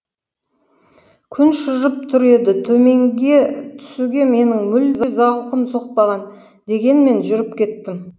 күн шыжып тұр еді төменге түсуге менің мүлде зауқым соқпаған дегенмен жүріп кеттім